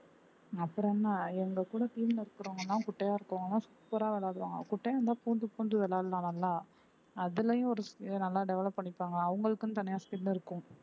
அப்புறம் என்ன எங்க கூட team ல இருக்கிறவங்க எல்லாம் குட்டையா இருக்கிறவங்க எல்லாம் super ஆ விளையாடுவாங்க குட்டையா இருந்தா பூந்து பூந்து விளையாடலாம் நல்லா அதுலயும் ஒரு இதை நல்லா develop பண்ணிப்பாங்க அவங்களுக்குன்னு தனியா skill இருக்கும்